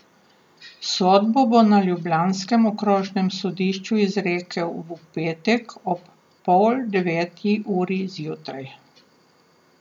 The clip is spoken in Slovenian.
Sodbo bo na ljubljanskem okrožnem sodišču izrekel v petek ob pol deveti uri zjutraj.